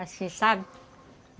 Assim, sabe?